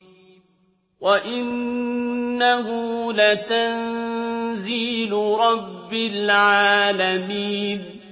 وَإِنَّهُ لَتَنزِيلُ رَبِّ الْعَالَمِينَ